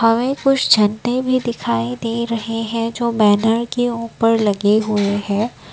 हमें कुछ झंडे भी दिखाई दे रहे हैं जो बैनर के ऊपर लगे हुए हैं।